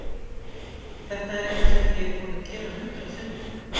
Þetta er eitthvað sem ég er búinn að gera hundrað sinnum.